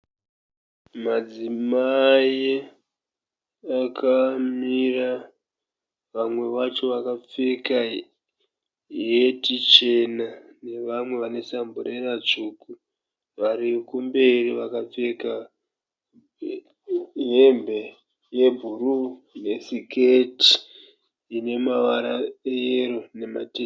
Madzimai akamira. Vamwe vacho vakapfeka heti chena nevamwe vane samburena tsvuku. Varikumberi vakapfeka hembe yebhuruu nesiketi inemavara eyero nematema